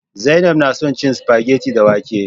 Zainab na son cin spaghetti da wake